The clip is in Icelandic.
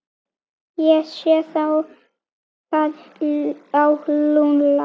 Ég sé það á Lúlla.